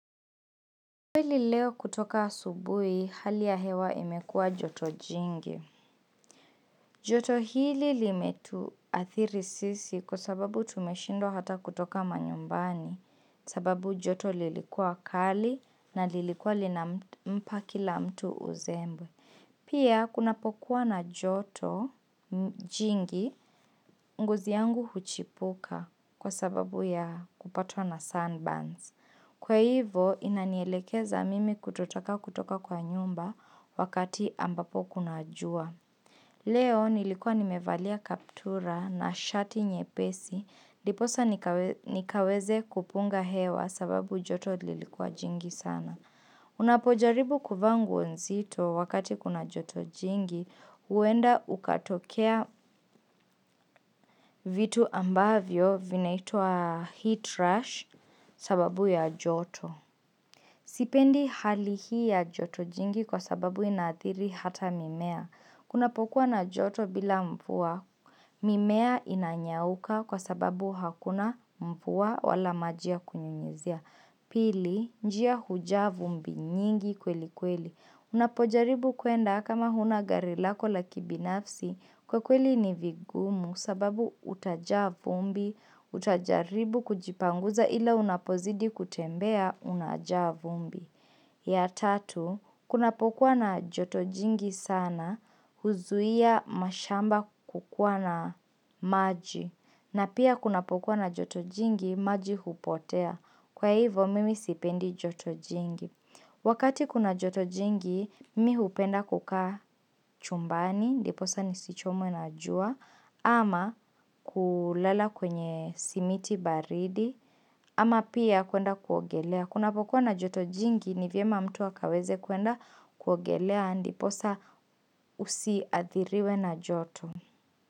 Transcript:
Kweli leo kutoka asubuhi, hali ya hewa imekua joto jingi. Joto hili limetuathiri sisi kwa sababu tumeshindwa hata kutoka manyumbani. Sababu joto lilikua kali na lilikua linampa kila mtu uzembe. Pia, kunapokuwa na joto jingi, ngozi yangu huchipuka kwa sababu ya kupatwa na sunburns. Kwa hivo inanielekeza mimi kutotaka kutoka kwa nyumba wakati ambapo kuna jua. Leo nilikuwa nimevalia kaptura na shati nyepesi ndiposa nikaweze kupunga hewa sababu joto lilikuwa jingi sana. Unapojaribu kuvaa nguo nzito wakati kuna joto jingi huenda ukatokea vitu ambavyo vinaitwa heat rush sababu ya joto. Sipendi hali hii ya joto jingi kwa sababu inaathiri hata mimea. Kunapokua na joto bila mvua, mimea inanyauka kwa sababu hakuna mvua wala maji ya kunyunyizia. Pili, njia hujaa vumbi nyingi kweli kweli. Unapojaribu kwenda kama huna gari lako la kibinafsi, kwa kweli ni vigumu sababu utajaa vumbi, utajaribu kujipanguza ila unapozidi kutembea unajaa vumbi. Ya tatu, kunapokuwa na joto jingi sana, huzuia mashamba kukua na maji. Na pia kuna pokuwa na joto jingi, maji hupotea. Kwa hivo, mimi sipendi joto jingi. Wakati kuna joto jingi, mimi hupenda kukaa chumbani, ndiposa nisichomwe na jua, ama kulala kwenye simiti baridi, ama pia kuenda kuogelea. Kunapokuwa na joto jingi ni vyema mtu akaweze kwenda kuogelea ndiposa usiathiriwe na joto.